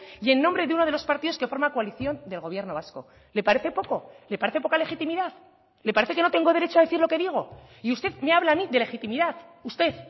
y en nombre de uno de los partidos que forma coalición del gobierno vasco le parece poco le parece poca legitimidad le parece que no tengo derecho a decir lo que digo y usted me habla a mí de legitimidad usted